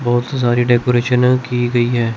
बहोत सी सारी डेकोरेशन की गई है।